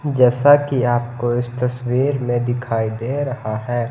जैसा कि आपको इस तस्वीर में दिखाई दे रहा है।